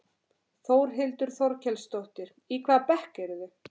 Þórhildur Þorkelsdóttir: Í hvaða bekk eruð þið?